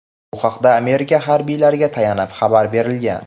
Bu haqda Amerika harbiylariga tayanib xabar berilgan.